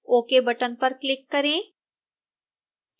ok button पर click करें